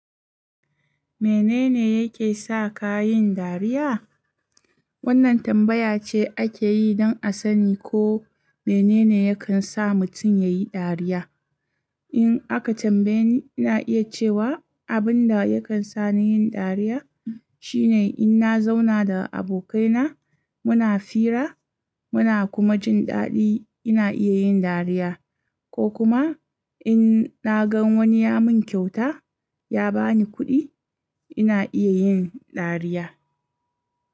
Menene yake sa ka yin dariya? Wannan tambaya ce ake yi don a sani ko menene yakan sa mutum ya yi dariya. In aka tambaye ni, ina iya cewa abin da yakan sa ni yin dariya shine in na zauna da abokaina muna fira, muna kuma jin daɗi ina iya yin dariya, ko kuma inna ga wani ya mun kyauta, ya ba ni kuɗi ina iya yin dariya.